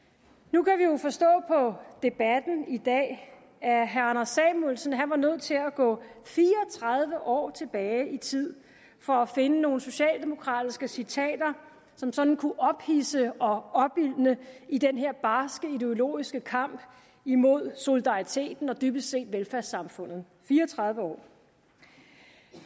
nu kan vi jo forstå på debatten i dag at herre anders samuelsen var nødt til at gå fire og tredive år tilbage i tid for at finde nogle socialdemokratiske citater som sådan kunne ophidse og opildne i den her barske ideologiske kamp imod solidariteten og dybest set velfærdssamfundet fire og tredive år